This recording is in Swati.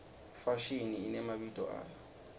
ifashini inemabito ayo